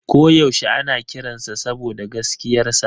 Ko yaushe ana kiransa saboda gaskiyarsa.